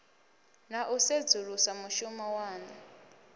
na u sedzulusa mushumo waṋu